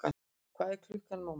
Hvað er klukkan, mamma?